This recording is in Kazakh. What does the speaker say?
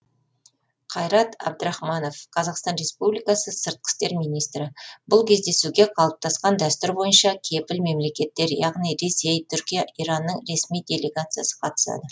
қайрат әбдірахманов қазақстан республикасы сыртқы істер министрі бұл кездесуге қалыптасқан дәстүр бойынша кепіл мемлекеттер яғни ресей түркия иранның ресми делегациясы қатысады